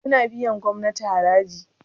suna biyar gomnati haraji?